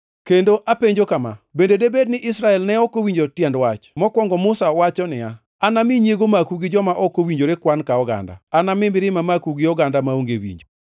Kendo apenjo kama: Bende debed ni Israel ne ok owinjo tiend wach? Mokwongo, Musa wacho niya, “Anami nyiego maku gi joma ok owinjore kwan ka oganda; anami mirima maku gi oganda maonge winjo.” + 10:19 \+xt Rap 32:21\+xt*